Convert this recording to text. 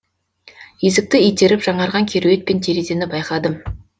есікті итеріп жаңарған кереует пен терезені байқадым